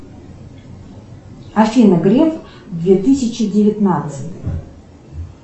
афина греф две тысячи девятнадцать